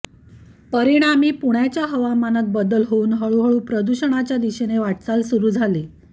परिणामी पुण्याच्या हवामानात बदल होऊन हळू हळू प्रदूषणाच्या दिशेने वाटचाल सुरु झाली